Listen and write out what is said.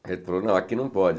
Falou não, aqui não pode.